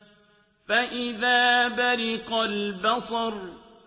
فَإِذَا بَرِقَ الْبَصَرُ